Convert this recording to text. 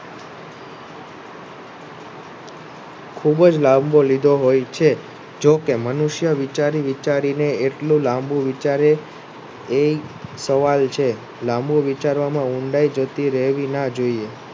ખુબ જ લાંબો લીધો હોય છે. જોકે મનુષ્ય વિચારી વિચારીને એટલી લાંબુ વિચારે એ સવાલ છે લાંબુ વિચારવામાં ઊંડાઈ જતી ના જોઈએ